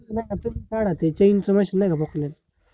नाय अजुन काढा ते चैन सोबत, नाय क?